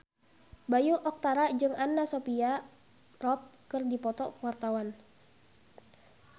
Bayu Octara jeung Anna Sophia Robb keur dipoto ku wartawan